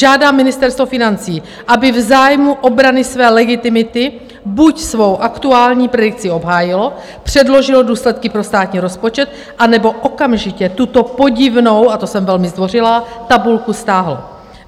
Žádám Ministerstvo financí, aby v zájmu obrany své legitimity buď svou aktuální predikci obhájilo, předložilo důsledky pro státní rozpočet, anebo okamžitě tuto podivnou, a to jsem velmi zdvořilá, tabulku stáhlo.